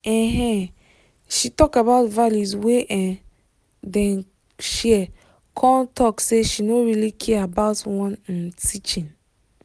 um she talk about values wey um dem share con talk say she no really care about one um teaching